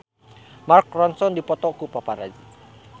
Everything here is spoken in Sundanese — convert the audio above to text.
Mark Ronson dipoto ku paparazi